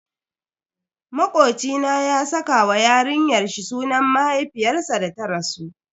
Makoci na ya saka wa yarinyar shi sunan mahaifiyarsa da ta rasu.